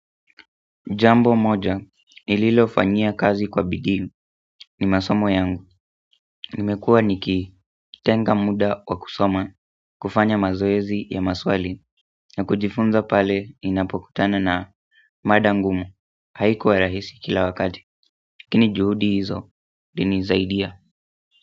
Jambo moja, nililofanyia kazi kwa bidii ni masomo yangu. Nimekuwa nikitenga muda wa kusoma, kufanya mazoezi ya maswali, na kujifunza pale ninapokutana na mada ngumu. Haikuwa rahisi kila wakati lakini juhudi hizo, zilinisaidia.